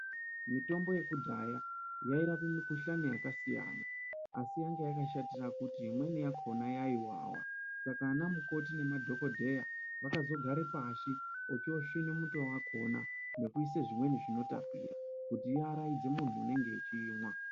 Mitombo yekudhaya yairape mukuhlani yakasiyana siyana asi yanga yakashatire kuti imweni yakona yaiwawa saka ana mukoti nemadhokodheya akazogare pashi ochosvina muto wakona nekuise zvimweni zvinotapira kuti iaraidze muntu unenge eimwa.